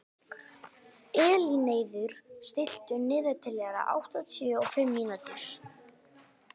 Elínheiður, stilltu niðurteljara á áttatíu og fimm mínútur.